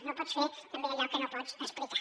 no pots fer tampoc allò que no pots explicar